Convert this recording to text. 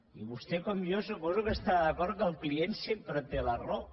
i vostè com jo suposo que estarà d’acord que el client sempre té la raó